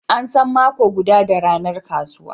An san mako guda da ranar kasuwa.